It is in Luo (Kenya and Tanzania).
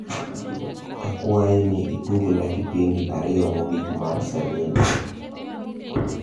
akwai ni itugna kipindi ariyo mogik mar selina